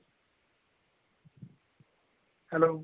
hello